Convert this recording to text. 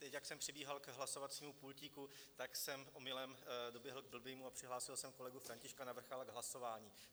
Teď jak jsem přibíhal ke hlasovacímu pultíku, tak jsem omylem doběhl k blbému a přihlásil jsem kolegu Františka Navrkala k hlasování.